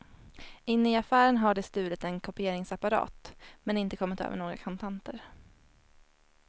Inne i affären har de stulit en kopieringsapparat, men inte kommit över några kontanter.